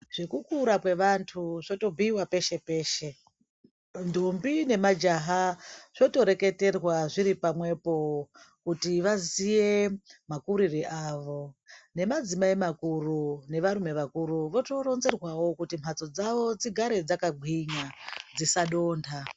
Zvekukura kwevantu zvotobhiiwa peshe peshe, ndombi nemajaha zvotoreketerwa zviripamwepo kuti vaziye makurire avo , nemadzimai makuru nevarume vakuru votoronzerwawo kuti mbatso dzawo dzigare dzakagwinya dzisadonda.